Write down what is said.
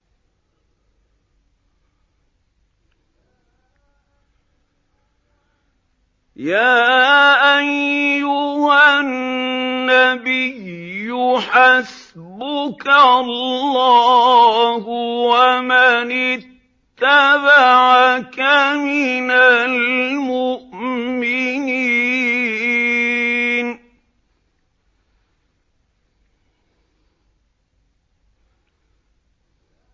يَا أَيُّهَا النَّبِيُّ حَسْبُكَ اللَّهُ وَمَنِ اتَّبَعَكَ مِنَ الْمُؤْمِنِينَ